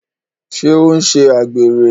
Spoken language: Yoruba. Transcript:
Ṣé ó ń ṣe àgbèrè?